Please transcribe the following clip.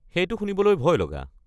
সেইটো শুনিবলৈ ভয়লগা।